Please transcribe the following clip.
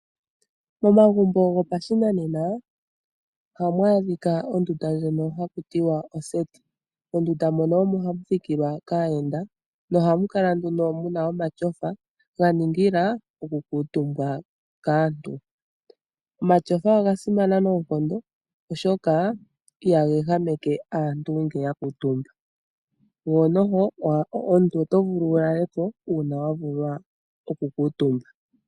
Momagumbo gopashinanena ohamu adhika ondunda ndjono hakutiwa oseti, mondunda mono omo hamu thikilwa kaayenda nohamu kala muna omatyofa ganingila oku kuutumbwa kaantu. Omatyofa oga simana noonkondo ihaga ehameke aantu ngele ya kuutumba, ko omuntu otovulu oku lalako uuna wavulwa oku kuutumba .